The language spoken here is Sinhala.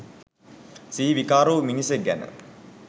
සිහි විකාර වූ මිනිසෙක් ගැන.